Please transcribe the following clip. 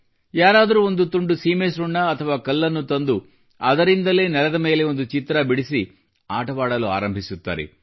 ಯಾರಾದರೂ ಒಂದು chalk piece ಅಥವಾ ಕಲ್ಲನ್ನು ತಂದರೂ ಅದರಿಂದಲೇ ನೆಲದ ಮೇಲೆ ಒಂದು ಚಿತ್ರ ಬಿಡಿಸಿ ಆಡವಾಡಲು ಆರಂಭಿಸುತ್ತಾರೆ